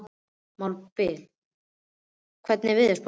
Mábil, hvernig er veðurspáin?